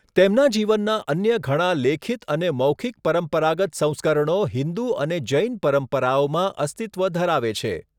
તેમના જીવનના અન્ય ઘણા લેખિત અને મૌખિક પરંપરાગત સંસ્કરણો હિન્દુ અને જૈન પરંપરાઓમાં અસ્તિત્વ ધરાવે છે.